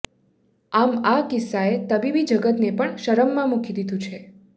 આમ આ કિસ્સાએ તબીબી જગતને પણ શરમમાં મૂકી દીધું છે